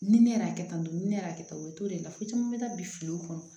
Ni ne y'a kɛ tan tɔ ni ne y'a kɛ tan o t'o de la fo caman bɛ taa biliw kɔnɔ